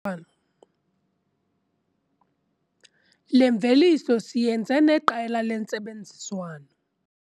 Le mveliso siyenze neqela lentsebenziswano.